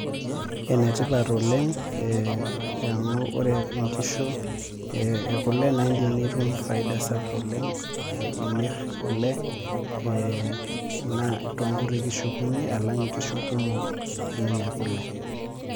Enetipat oleng amu ore nkishu ekule naa indim nitum faida sapuk imir kule naa tonkuti kishu kunyi alang nkishu kumok .